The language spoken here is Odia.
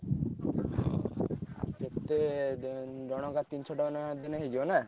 ହଉ ଆଉ କେତେ ~ଦେ ଉଁ ଜଣକା ତିନିଶ ଟଙ୍କା ଲେଖା ଦେଇଦେଲେ ହେଇଯିବ ନା?